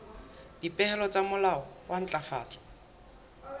dipehelo tsa molao wa ntlafatso